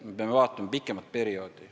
Me peame vaatama pikemat perioodi.